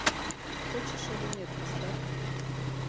хочешь или нет поставь